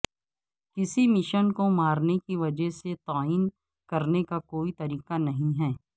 کسی مشین کو مارنے کی وجہ سے تعین کرنے کا کوئی طریقہ نہیں ہے